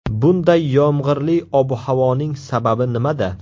Bunday yomg‘irli ob-havoning sababi nimada?